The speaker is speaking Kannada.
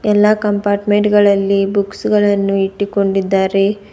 ಎಲ್ಲಾ ಕಂಪಾರ್ಟ್ಮೆಂಟ್ ಗಳಲ್ಲಿ ಬುಕ್ಸ್ ಗಳನ್ನು ಇಟ್ಟಿಕೊಂಡಿದ್ದಾರೆ.